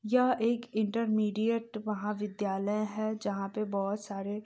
यह एक इंटरमिडियट महाविद्यालय है जहाँ पे बहोत सारे --